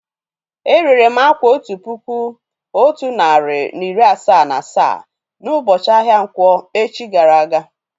È rèré m àkwá otu puku otu narị na iri asaa na asaa na ubochi ahia nkwọ̀ echi gara aga